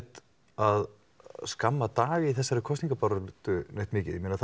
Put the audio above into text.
að skamma Dag í þessari kosningabaráttu neitt mikið